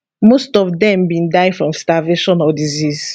most of dem bin die from starvation or disease